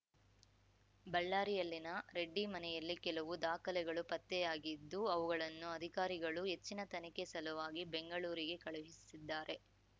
ಬಳ್ಳಾರಿಯಲ್ಲಿನ ರೆಡ್ಡಿ ಮನೆಯಲ್ಲಿ ಕೆಲವು ದಾಖಲೆಗಳು ಪತ್ತೆಯಾಗಿದ್ದು ಅವುಗಳನ್ನು ಅಧಿಕಾರಿಗಳು ಹೆಚ್ಚಿನ ತನಿಖೆ ಸಲುವಾಗಿ ಬೆಂಗಳೂರಿಗೆ ಕಳುಹಿಸಿದ್ದಾರೆ